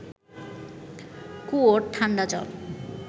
কুয়োর ঠান্ডা জল